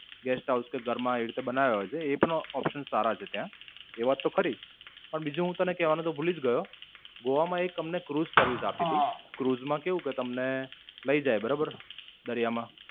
Guesthouse કે ઘરમાં એ રીતે બનાવ્યા હોય છે એ પણ options સારા છે ત્યાં. એ વાત ઓ ખરી જ. પણ, બીજું હું તને કહેવાનું તો ભૂલી જ ગયો. ગોવા માં અમને એક Cruise service આપી હતી. ક્રુઝ માં કેવું કે તમને લઇ જાય બરોબર દરિયા માં.